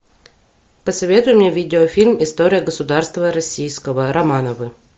посоветуй мне видеофильм история государства российского романовы